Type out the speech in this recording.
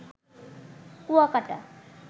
Kuakata